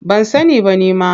Ban sani ba nima.